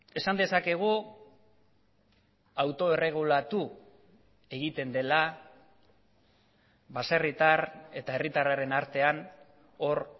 esan dezakegu autoerregulatu egiten dela baserritar eta herritarraren artean hor